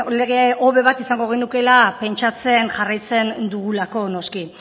lege hobe bat izango genukeela pentsatzen jarraitzen dugulako noski